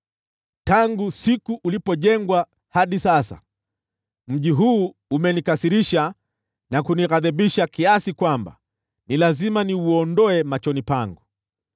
Tangu siku ulipojengwa hadi sasa, mji huu umenikasirisha na kunighadhibisha kiasi kwamba ni lazima niuondoe machoni pangu.